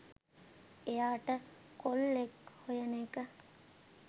එයාට කොල්ලෙක් හොයන එක